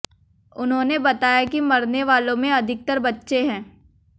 उन्होंने बताया कि मरने वालों में अधिकतर बच्चे हैं